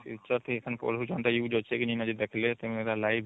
Future ଟି କଣ use ଅଛି କି ନା